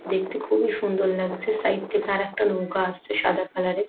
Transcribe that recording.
দিনটি খুবই সুন্দর লাগছে সাইড থেকে আরেকটা নৌকা আসছে সাদা কালার এর।